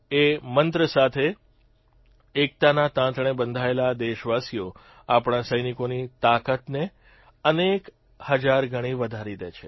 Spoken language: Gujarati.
એ મંત્ર સાથે એકતાના તાંતણે બંધાયેલા દેશવાસીઓ આપણા સૈનિકોની તાકાતને અનેક હજારગણી વધારી દે છે